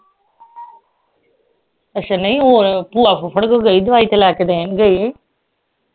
ਅਸ਼ਾ ਨਹੀਂ ਹੋਰ ਭੂਆ ਫੁਫੜ ਕੋਲ ਗਈ ਦਵਾਈ ਤੇ ਲੈ ਕੇ ਦੇਣਗੇ ਹੀ